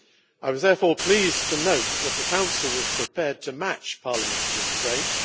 I was therefore pleased to note that the Council was prepared to match Parliament's restraint.